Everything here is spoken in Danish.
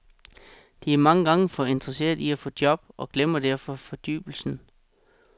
De er mange gange for interesserede i at få job og glemmer derfor fordybelsen.